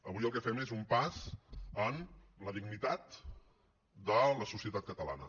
avui el que fem és un pas en la dignitat de la societat catalana